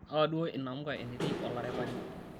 awa duo enamuka enetii olaripani